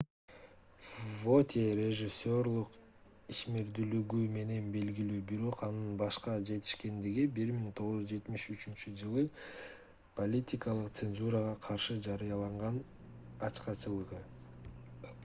вотье режиссерлук ишмердүүлүгү менен белгилүү бирок анын башка жетишкендиги - 1973-ж политикалык цензурага каршы жарыялаган ачкачылыгы